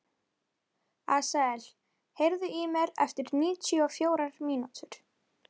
Asael, heyrðu í mér eftir níutíu og fjórar mínútur.